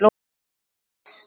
Hvernig líst þér á það